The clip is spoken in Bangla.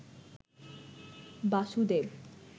বাসুদেব